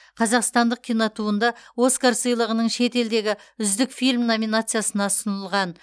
қазақстандық кинотуынды оскар сыйлығының шетелдегі үздік фильм номинациясына ұсынылған